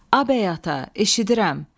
A bəy ata, eşidirəm.